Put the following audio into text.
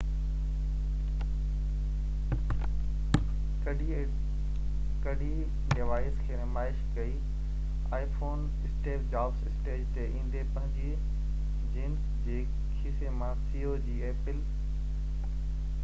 apple جي ceo Steve Jobs stage تي ايندي پنهنجي جينس جي کيسي مان iphone ڪڍي ڊوائيس کي نمائش ڪئي